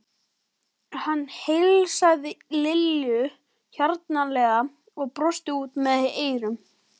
Hann heilsaði Lillu hjartanlega og brosti út að eyrum.